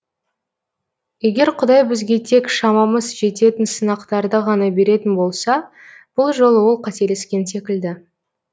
егер құдай бізге тек шамамыз жететін сынақтарды ғана беретін болса бұл жолы ол қателескен секілді